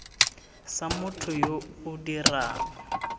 sa motho yo o dirang